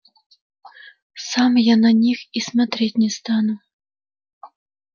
сам я на них и смотреть не стану